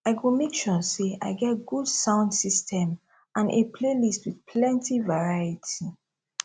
i go make sure say i get good sound system and a playlist with plenty variety